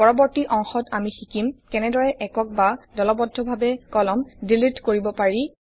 পৰবৰ্তি অংশত আমি শিকিম কেনেদৰে একক বা দলবদ্ধভাৱে কলম ডিলিট কৰিব পাৰি